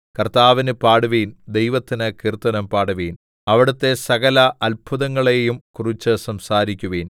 കർത്താവിന് പാടുവിൻ ദൈവത്തിന് കീർത്തനം പാടുവിൻ അവിടുത്തെ സകല അത്ഭുതങ്ങളെയും കുറിച്ച് സംസാരിക്കുവിൻ